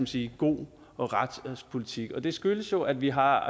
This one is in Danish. sige god retspolitik det skyldes jo at vi har